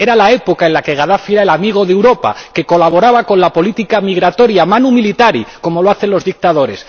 Era la época en la que Gadafi era el amigo de Europa que colaboraba con la política migratoria manu militari como lo hacen los dictadores